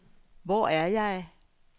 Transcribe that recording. Hvor er jeg